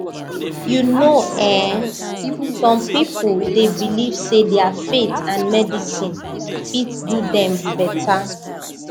you know eh some people dey believe say their faith and medicine fit do dem better